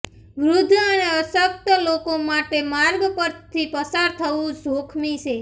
વૃધ્ધ અને અશકત લોકો માટે માર્ગ પરથી પસાર થવુ જોખમી છે